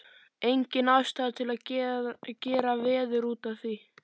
Engin ástæða til að gera veður út af því.